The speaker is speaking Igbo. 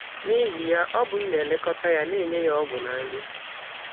N’ihi ya, ọ bụ m na - elekọta ya, na - enye ya ọgwụ na nri.